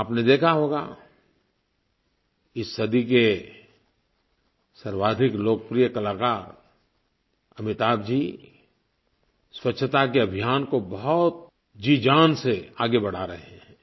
आपने देखा होगा इस सदी के सर्वाधिक लोकप्रिय कलाकार अमिताभ जी स्वच्छता के अभियान को बहुत जीजान से आगे बढ़ा रहे हैं